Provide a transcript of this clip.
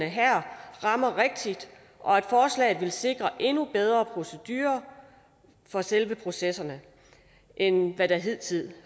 her rammer rigtigt og at forslaget vil sikre endnu bedre procedurer for selve processerne end hvad der hidtil